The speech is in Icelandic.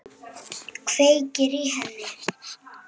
Kveikir í henni.